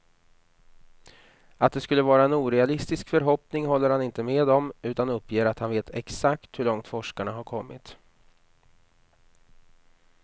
Att det skulle vara en orealistisk förhoppning håller han inte med om, utan uppger att han vet exakt hur långt forskarna har kommit.